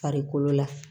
Farikolo la